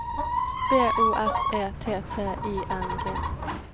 B O S E T T I N G